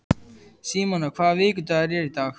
Símona, hvaða vikudagur er í dag?